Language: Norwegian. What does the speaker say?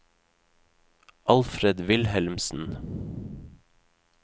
Alfred Wilhelmsen